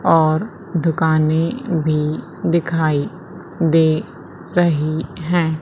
और दुकाने भी दिखाई दे रही है।